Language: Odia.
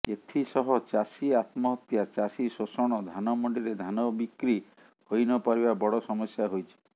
ଏଥିସହ ଚାଷୀ ଆତ୍ମହତ୍ୟା ଚାଷୀଶୋଷଣ ଧାନ ମଣ୍ତିରେ ଧାନ ବିକ୍ର ହୋଇନପାରିବା ବଡ ସମସ୍ୟା ହୋଇଛି